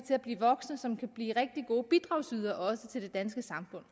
voksne som kan blive rigtig gode bidragsydere også til det danske samfund